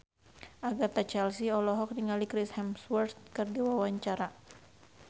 Agatha Chelsea olohok ningali Chris Hemsworth keur diwawancara